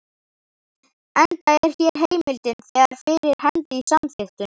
enda er hér heimildin þegar fyrir hendi í samþykktunum.